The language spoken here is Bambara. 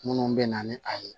Minnu bɛ na ni a ye